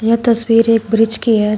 यह तस्वीर एक ब्रिज की है।